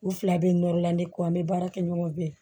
U fila bɛ nɔrɔla ne kɔ an bɛ baara kɛ ɲɔgɔn fɛ